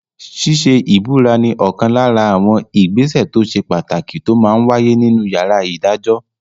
Ṣíṣe ìbúra ní ọ̀kan lára àwọn ìgbésẹ̀ tó ṣe pàtàkì tó máa n wáyé nínu yàrá ìdájọ́